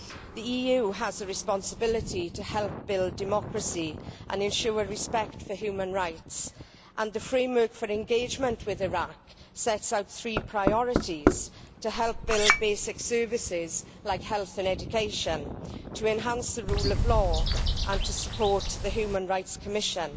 The EU has a responsibility to help build democracy and ensure respect for human rights, and the framework for engagement with Iraq sets out three priorities to help build basic services like health and education, to enhance the rule of law and to support the Human Rights Commission.